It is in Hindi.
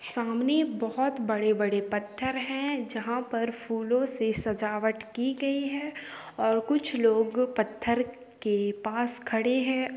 सामने बहुत बड़े-बड़े पत्थर है जहाँ पर फूलों से सजावट की गई है और कुछ लोग पत्थर के पास खड़े है।